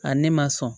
A ne ma sɔn